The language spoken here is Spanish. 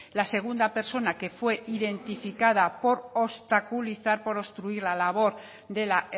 la segunda persona que fue identificada por obstaculizar por obstruir la labor de la